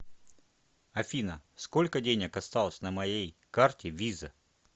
афина сколько денег осталось на моей карте виза